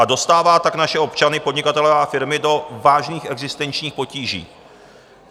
A dostává tak naše občany, podnikatele a firmy do vážných existenčních potíží.